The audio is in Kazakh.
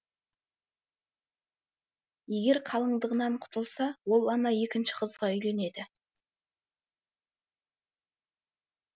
егер қалыңдығынан құтылса ол ана екінші қызға үйленеді